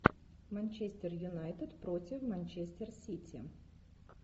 манчестер юнайтед против манчестер сити